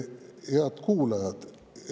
Head kuulajad!